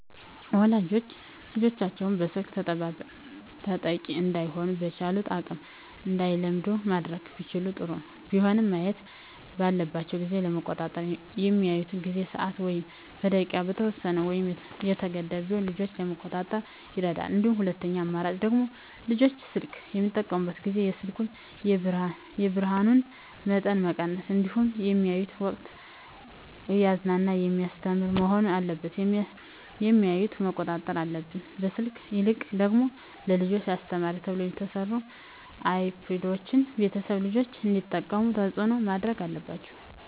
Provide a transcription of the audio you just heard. ወላጆች ልጆቻቸውን የስልክ ተጠቂ እዳይሆኑ በቻሉት አቅም እንዳይለምዱ ማድረግ ቢችሉ ጥሩ ቢሆንም ማየት ባለባቸው ጊዜ ለመቆጣጠር በሚያዩበት ጊዜ በሰዓት ወይም በደቂቃ የተወሰነ ወይም የተገደበ ቢሆን ልጆችን ለመቆጣጠር ይረዳል እንደ ሁለተኛ አማራጭ ደግሞ ልጆች ስልክ በሚጠቀሙበት ጊዜ የስልኩን የብርሀኑን መጠን መቀነስ እንዲሁም በሚያዩበት ወቅትም እያዝናና በሚያስተምር መሆን አለበት የሚያዮትን መቆጣጠር አለብን። ከስልክ ይልቅ ደግሞ ለልጆች አስተማሪ ተብለው የተሰሩ አይፓዶችን ቤተሰቦች ልጆች እንዲጠቀሙት ተፅዕኖ ማድረግ አለባቸው።